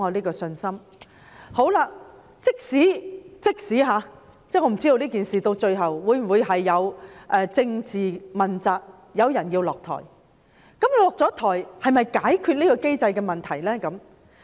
我不知道這件事最後會否導致政治問責，有人需要下台，但下台又能否解決這個機制的問題呢？